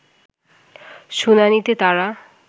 শুনানিতে তারা